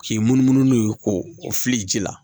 K'i munumunu n'u ye ko o fili ji la